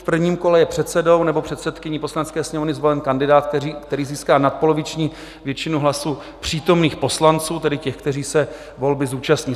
V prvním kole je předsedou nebo předsedkyní Poslanecké sněmovny zvolen kandidát, který získá nadpoloviční většinu hlasů přítomných poslanců, tedy těch, kteří se volby zúčastní.